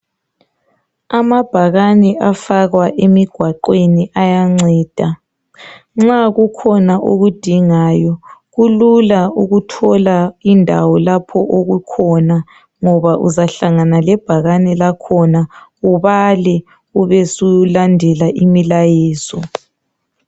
Amabhakane afakwa emigwaqweni ayanceda .Nxa kukhona okudingayo kulula ukuthola indawo lapho okukhona ngoba uzahlangana lebhakane lakhona ubale ube sulandela imilayezo .